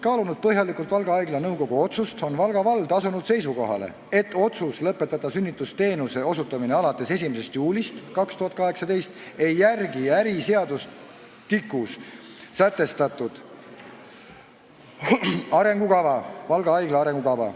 Kaalunud põhjalikult Valga Haigla nõukogu otsust, on Valga vald asunud seisukohale, et otsus lõpetada sünnitusabiteenuse osutamine alates 1. juulist 2018 ei järgi äriseadustikus sätestatud arengukava, Valga Haigla arengukava.